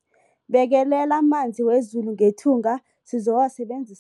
Bekelela amanzi wezulu ngethunga sizowasebenzisa lokha.